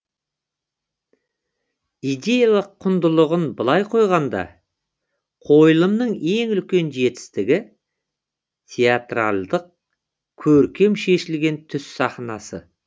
идеялық құндылығын былай қойғанда қойылымның ең үлкен жетістігі театралдық көркем шешілген түс сахнасы